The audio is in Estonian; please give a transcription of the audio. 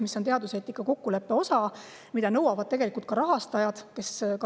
See on teaduseetika kokkuleppe osa ja seda nõuavad tegelikult ka rahastajad.